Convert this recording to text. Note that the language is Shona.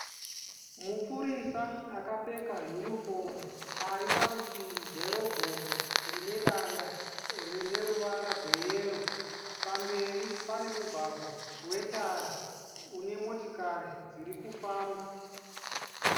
Mupurisa akapfeka hunifomu ari parutivi gwerobhoti rine danda rine ruvara gweyero. Pamberi pane mugwagwa wetara une motikari dziri kufamba.